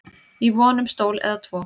í von um stól eða tvo